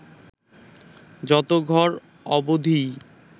যত ঘর অবধিই